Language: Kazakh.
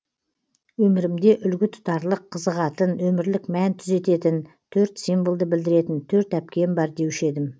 өмірімде үлгі тұтарлық қызығатын өмірлік мән түзететін төрт символды білдіретін төрт әпкем бар деуші едім